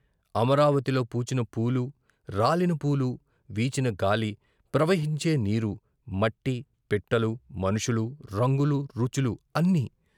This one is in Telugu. అమరావతిలో పూచిన పూలు, రాలిన పూలు, వీచిన గాలి, ప్రవహించే నీరు, మట్టి, పిట్టలు, మనుషులూ, రంగులు, రుచులు అన్నీ